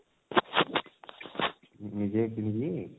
ସେ ନିଜେ କିଣିଛି?